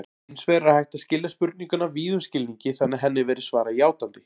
Hins vegar er hægt að skilja spurninguna víðum skilningi þannig að henni verði svarað játandi.